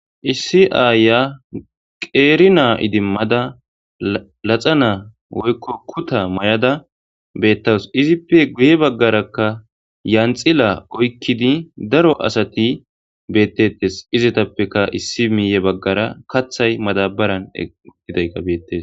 Hssi aaya qeeri naa idimmada laxa naa woykko kuta may7ada beettawus izippe guye baggarakka yanxila oykkidi daro asati beettettes izatappeka issi miiye baggara kathay madabaran ukidayka beettes.